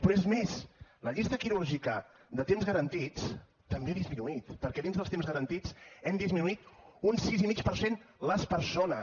però és més la llista quirúrgica de temps garantits també ha disminuït perquè dins dels temps garantits hem disminuït un sis i mig per cent les persones